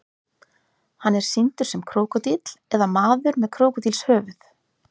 hann er sýndur sem krókódíll eða maður með krókódílshöfuð